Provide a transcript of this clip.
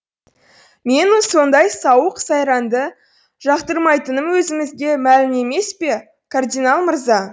менің сондай сауық сайранды жақтырмайтыным өзіңізге мәлім емес пе кардинал мырза